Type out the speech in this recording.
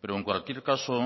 pero en cualquier caso